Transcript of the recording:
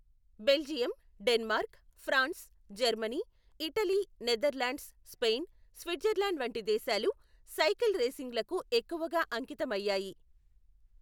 Belgium, Denmark, France, Germany, Italy, Netherlands, Spain, Switzerland వంటి దేశాలు cycle రేసింగులకు ఎక్కువగా అంకితమయ్యాయి.